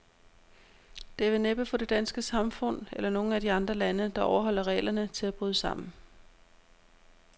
Det vil næppe få det danske samfund, eller nogen af de andre lande, der overholder reglerne, til at bryde sammen.